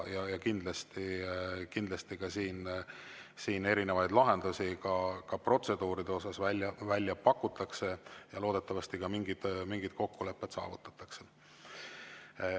Kindlasti siin erinevaid lahendusi protseduuride kohta välja pakutakse ja loodetavasti ka mingid kokkulepped saavutatakse.